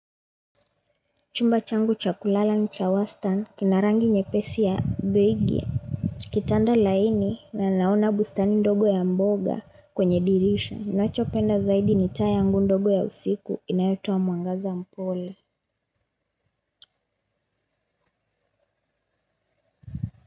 Chumba changu cha kulala ni cha wastani kina rangi nyepesi ya begi. Kitanda laini na naona bustani ndogo ya mboga kwenye dirisha. Nacho penda zaidi ni tayangu ndogo ya usiku inayotua mwangaza mpole.